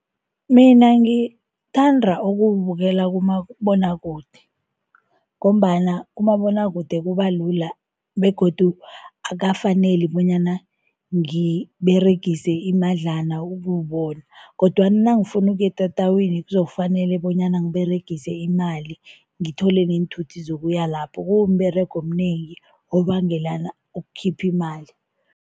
Mina ngithanda ukuwubukela kumabonwakude ngombana kumabonwakude kuba lula begodu akukafaneli bonyana ngiberegise imadlana ukuwubona kodwana nangifuna ukuya etatawini kuzokufanele bonyana ngiberegise imali, ngithole neenthuthi zokuya lapho, kumberego omnengi, obangelana ukukhipha imali.